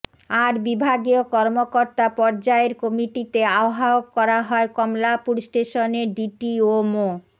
আর বিভাগীয় কর্মকর্তা পর্যায়ের কমিটিতে আহ্বায়ক করা হয় কমলাপুর স্টেশনের ডিটিও মো